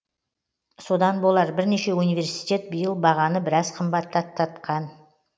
содан болар бірнеше университет биыл бағаны біраз қымбаттатқан